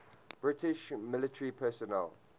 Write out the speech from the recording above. british military personnel